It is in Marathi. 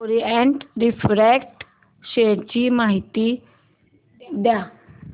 ओरिएंट रिफ्रॅक्ट शेअर ची माहिती द्या